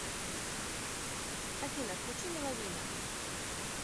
афина включи меловина